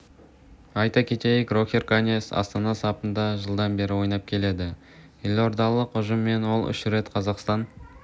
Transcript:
айта кетейік рохер каньяс астана сапында жылдан бері ойнап келеді елордалық ұжыммен ол үш рет қазақстан